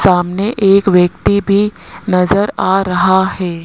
सामने एक व्यक्ति भी नजर आ रहा है।